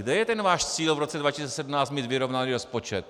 Kde je ten váš cíl v roce 2017 mít vyrovnaný rozpočet?